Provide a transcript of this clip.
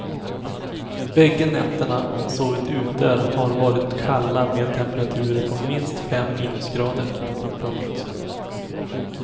Bägge nätterna hon sovit ute har varit kalla med temperaturer på minst fem minusgrader. punkt